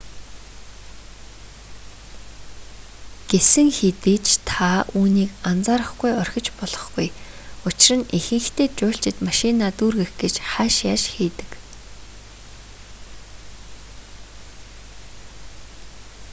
гэсэн хэдий ч та үүнийг анхаарахгүй орхиж болохгүй учир нь ихэнхдээ жуулчид машинаа дүүргэх гэж хайш яйш хийдэг